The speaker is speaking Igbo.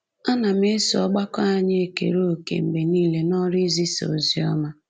Ana m eso ọgbakọ anyị ekere òkè mgbe nile n’ọrụ izisa ozi ọma.